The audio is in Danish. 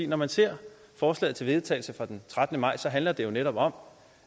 når man ser forslaget til vedtagelse fra den trettende maj handler det netop om